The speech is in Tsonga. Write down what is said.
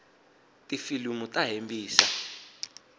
tifilimu ta hembisa